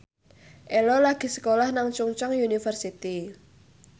Ello lagi sekolah nang Chungceong University